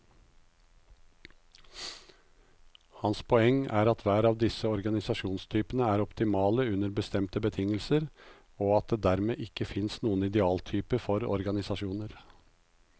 Hans poeng er at hver av disse organisasjonstypene er optimale under bestemte betingelser, og at det dermed ikke finnes noen idealtype for organisasjoner.